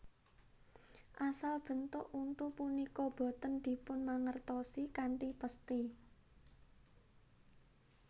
Asal bentuk untu punika boten dipunmangertosi kanthi pesthi